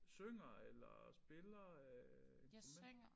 Synger eller spiller øh et instrument